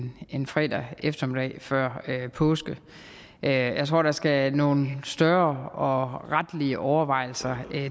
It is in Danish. lige en fredag eftermiddag før påske jeg tror der skal nogle større og retlige overvejelser